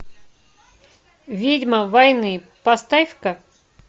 ведьма войны поставь ка